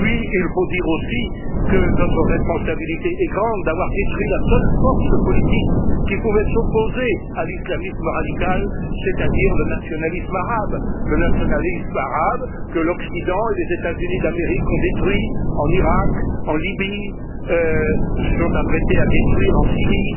Il faut dire aussi que notre responsabilité est grande d'avoir détruit la seule force politique qui pouvait s'opposer à l'islamisme radical, c'est à dire le nationalisme arabe que l'Occident et les États Unis d'Amérique ont détruit en Irak, en Libye et se sont apprêtés à détruire en Syrie.